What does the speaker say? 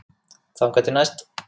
Þangað til næst.